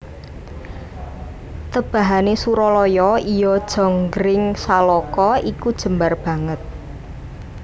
Tebahane Suralaya iya jonggringsaloka iku jembar banget